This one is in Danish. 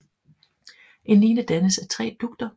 En line dannes af tre dugter